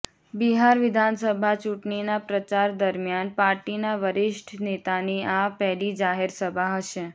બિહાર વિધાનસભા ચૂંટણીના પ્રચાર દરમિયાન પાર્ટીના વરિષ્ઠ નેતાની આ પહેલી જાહેર સભા હશે